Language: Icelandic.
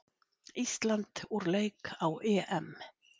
Ísland úr leik á EM